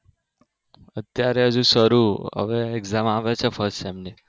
અત્યારે હજુ શરુ હવે exam આવે છે first sem ની